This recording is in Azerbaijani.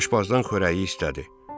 Gedib aşbazdan xörəyi istədi.